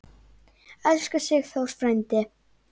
Elsku Sigþór frændi.